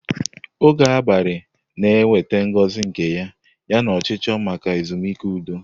Oge abalị na-eweta ngozi nke ya, yana ọchịchọ maka ezumike udo.